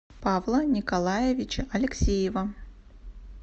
павла николаевича алексеева